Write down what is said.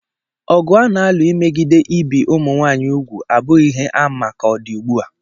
Ọgụ a na-alụ megide ibi ụmụ nwaanyị úgwù abụghị ihe a ma-ama ka ọ dị ugbu a.